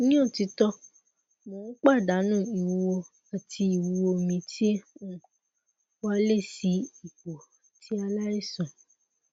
ni otito mo n padanu iwuwo ati iwuwo mi ti um wa le si ipo ti alaisan